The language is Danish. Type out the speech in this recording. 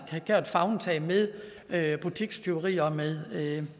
tage favntag med butikstyverier og med